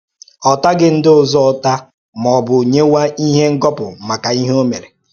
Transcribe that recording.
Ọ̀taghị ndị ọzọ ụ́ta ma ọ bụ nyewe ihe ngọpụ maka ihe ọ́ mere.